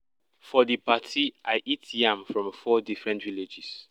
for di party i eat yam from four different villages